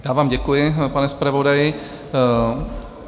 Já vám děkuji, pane zpravodaji.